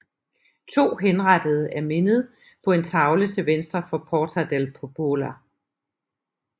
To henrettede er mindet på en tavle til venstre for Porta del Popolo